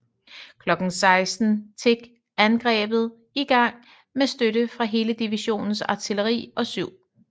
Klokken 16 tik angrebet i gang med støtte fra hele divisionens artilleri og 7